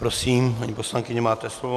Prosím, paní poslankyně, máte slovo.